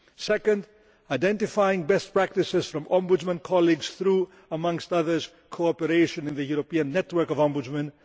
second, identifying best practices from Ombudsman colleagues through, amongst others, cooperation in the European network of ombudsmen